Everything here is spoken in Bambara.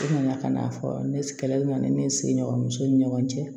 Nana ka n'a fɔ ne kɛlɛli la ni ne sigiɲɔgɔnso ni ɲɔgɔn cɛ